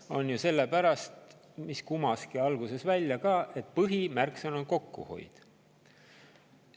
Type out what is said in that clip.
See on ju sellepärast, mis kumas alguses välja ka, et põhimärksõna on kokkuhoid.